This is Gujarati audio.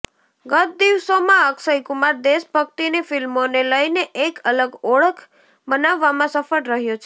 ગત દિવસોમાં અક્ષય કુમાર દેશભક્તિની ફિલ્મોને લઇને એક અલગ ઓળખ બનાવવામાં સફળ રહ્યો છે